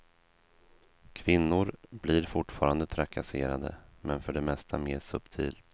Kvinnor blir fortfarande trakasserade, men för det mesta mer subtilt.